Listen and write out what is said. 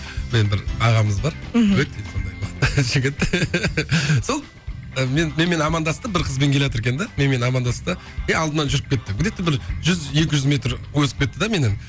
бір ағамыз бар мхм өте сондай жігіт сол мен менімен амандасты бір қызбен келеатыр екен де менімен амандасты да е алдымнан жүріп кетті где то бір жүз екі жүз метр озып кетті де меннен